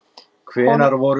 Honum var starsýnt í austur.